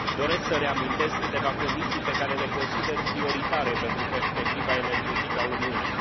Doresc să reamintesc câteva condiții pe care le consider prioritare pentru perspectiva energetică a Uniunii.